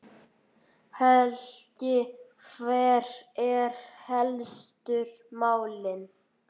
Helgi, hver eru helstu málin?